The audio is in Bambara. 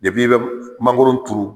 I i bɛ mangoro turu.